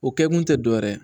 O kɛkun tɛ dɔ wɛrɛ ye